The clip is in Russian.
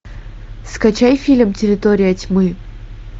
скачай фильм территория тьмы